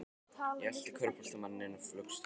Ég elti körfuboltamanninn inn í flugstöðina.